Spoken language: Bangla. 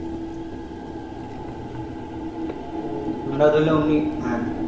আমরা ধরলে অমনি হ্যাঁ